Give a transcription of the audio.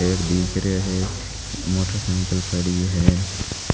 दिख रा है मोटर साइकिल खड़ी है।